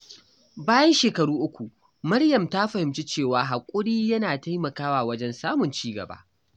Bayan shekaru uku, Maryam ta fahimci cewa haƙuri yana taimakawa wajen samun ci gaba.